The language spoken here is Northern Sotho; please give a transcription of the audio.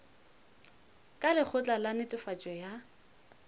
ka lekgotla la netefatšo ya